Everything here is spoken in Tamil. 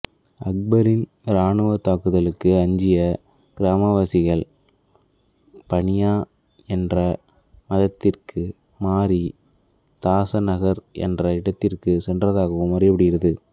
அக்பரின் இராணுவத் தாக்குதலுக்கு அஞ்சிய கிராமவாசிகள் பணியா என்ற மதத்திற்கு மாறி தாசநகர் என்ற இடத்திற்கு சென்றதாகவும் அறியப்படுகிறது